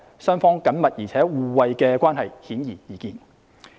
雙方緊密而互惠的關係，顯而易見。